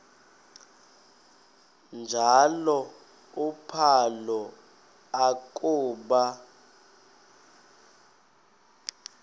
njalo uphalo akuba